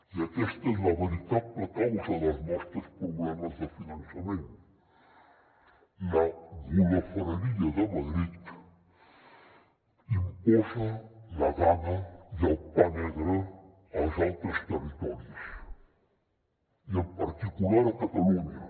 i aquesta és la veritable causa dels nostres problemes de finançament la golafreria de madrid imposa la gana i el pa negre als altres territoris i en particular a catalunya